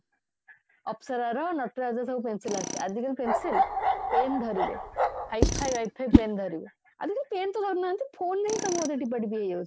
ଅପ୍ସରା ର ନଟରାଜ ର ସବୁ pencil ଆସୁଥିଲା ଆଜିକାଲି pencil pen ଧରିବେ high ଫାଇ pen ଧରିବେ ଆଜିକାଲି pen ତ ଧରୁନାହାନ୍ତି phone ରେ ସବୁକଥା ଟିପା ଟିପି ହେଇଯାଉଛନ୍ତି